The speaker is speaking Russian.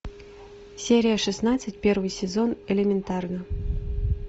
серия шестнадцать первый сезон элементарно